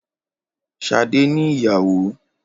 Ṣadé ni ìyàwó